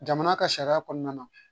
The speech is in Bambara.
Jamana ka sariya kɔnɔna na